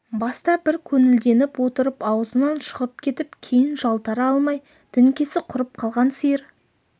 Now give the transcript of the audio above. баста бір көңілденіп отырып аузынан шығып кетіп кейін жалтара алмай діңкесі құрып қалған сиыр